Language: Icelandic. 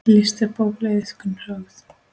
List er bókleg iðkun sögð.